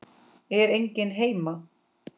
Er enginn heima?